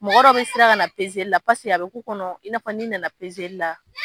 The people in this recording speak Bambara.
Mɔgɔ dɔ bi siran ka na la paseke a be k'u kɔnɔ i nafɔ ni nana p la